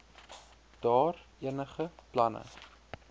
daar enige planne